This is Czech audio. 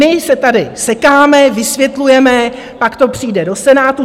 My se tady sekáme, vysvětlujeme, pak to přijde do Senátu.